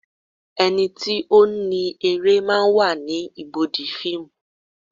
Ẹni tí ó ni eré máa ń wà ní ibùdó fíìmù.